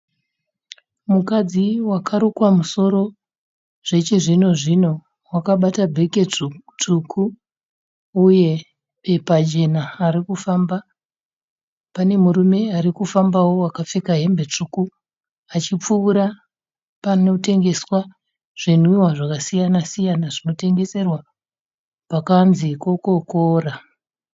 Mukadzi wakarukwa musoro zvechizvino-zvino. Wakabata bheke dzvuku uye bepa jena ari kufamba. Pane murume arikufambawo akapfeka hembe tsvuku achikupfuura panotengeswa zvinwiwa zvakasiyana-siyana zvinotengeserwa pakanzi kokokora.